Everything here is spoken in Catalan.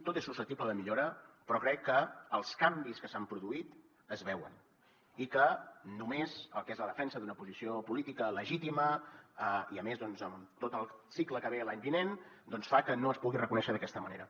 tot és susceptible de millora però crec que els canvis que s’han produït es veuen i que només el que és la defensa d’una posició política legítima i a més amb tot el cicle que ve l’any vinent doncs fa que no es pugui reconèixer d’aquesta manera